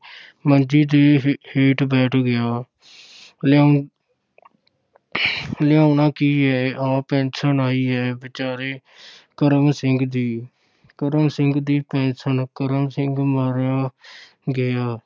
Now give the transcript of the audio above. ਮੰਜੀ ਦੇ ਹੇ~ ਹੇਠ ਬੈਠ ਗਿਆ ਲਿਆਓ ਲਿਆਉਣਾ ਕੀ ਏ, ਆਹ ਪੈਨਸ਼ਨ ਆਈ ਏ ਵਿਚਾਰੇ ਕਰਮ ਸਿੰਘ ਦੀ, ਕਰਮ ਸਿੰਘ ਦੀ ਪੈਨਸ਼ਨ, ਕਰਮ ਸਿੰਘ ਮਾਰਿਆ ਗਿਆ।